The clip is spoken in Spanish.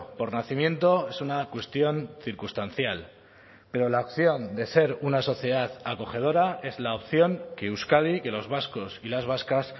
por nacimiento es una cuestión circunstancial pero la opción de ser una sociedad acogedora es la opción que euskadi que los vascos y las vascas